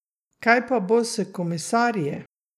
Kaj pa bo s komisarji?